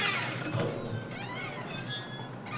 høj